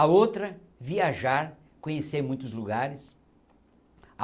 A outra, viajar, conhecer muitos lugares.